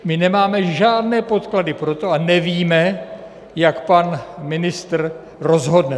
My nemáme žádné podklady pro to a nevíme, jak pan ministr rozhodne.